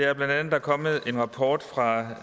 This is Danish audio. er bla at der er kommet en rapport fra